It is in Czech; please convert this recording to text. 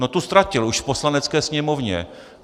No, tu ztratil už v Poslanecké sněmovně.